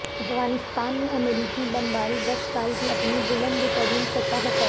افغانستان میں امریکی بمباری دس سال کی اپنی بلند ترین سطح پر